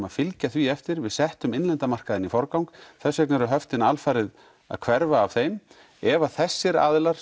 að fylgja því eftir við settum innlenda markaðinn í forgang þess vegna eru höftin alfarið að hverfa af þeim ef þessir aðilar